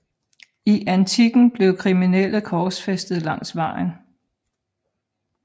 I antikken blev kriminelle korsfæstet langs vejen